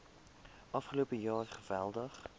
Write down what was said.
afgelope jaar geweldig